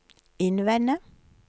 innvende